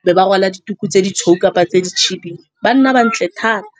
e be ba rwala dituku tse ditshweu kapa tse dikhibidu. Ba nna ba ntle thata.